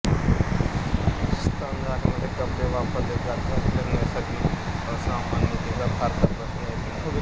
स्तन झाकणारे कपडे वापरले जात असल्यास नैसर्गिक असमानतेचा फारसा प्रश्न येत नाही